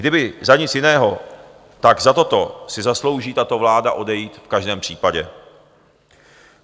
Kdyby za nic jiného, tak za toto si zaslouží tato vláda odejít v každém případě.